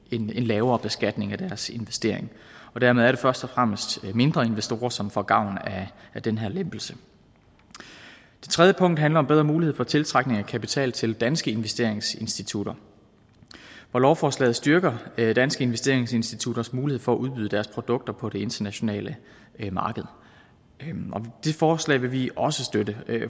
en lavere beskatning af deres investering og dermed er det først og fremmest mindre investorer som får gavn af den her lempelse det tredje punkt handler om bedre mulighed for tiltrækning af kapital til danske investeringsinstitutter og lovforslaget styrker danske investeringsinstitutters mulighed for at udbyde deres produkter på det internationale marked det forslag vil vi også støtte